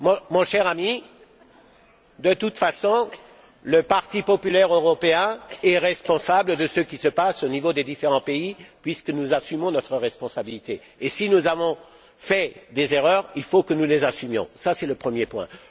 Mon cher ami, de toute façon, le Parti populaire européen est responsable de ce qu'il se passe au niveau des différents pays puisque nous assumons notre responsabilité. Si nous avons fait des erreurs, il faut que nous les assumions. C'est le premier point.